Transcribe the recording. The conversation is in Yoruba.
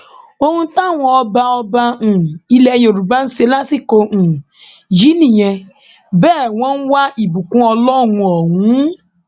ohun táwọn ọba ọba um ilẹ yorùbá ń ṣe lásìkò um yìí nìyẹn bẹẹ wọn ń wá ìbùkún ọlọrun ọhún